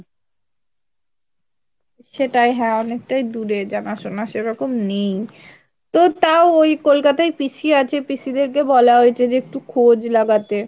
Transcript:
সেটাই হ্যাঁ অনেকটাই দূরে জানা শোনা সেরকম নেই , তো তাও এই কলকাতায় পিসি আছে পিসি দের কে বলা হয়েছে যে একটু খোঁজ লাগাতে।